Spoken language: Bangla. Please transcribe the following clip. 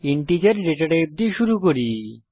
ইন্টিজার ডেটা টাইপ দিয়ে শুরু করি